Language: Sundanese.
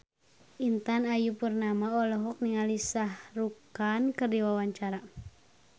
Intan Ayu Purnama olohok ningali Shah Rukh Khan keur diwawancara